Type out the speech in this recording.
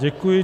Děkuji.